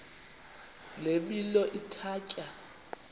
le milo ithatya